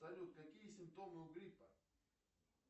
салют какие симптомы у гриппа